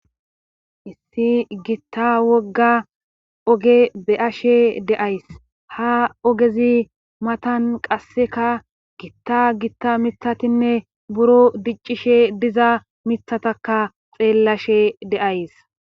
Issi gitta wogga oge be'ashe deays ha ogezi matan qasseka gitta gitta mithatinne buro diccishe diza mithataka xeellashe de'ays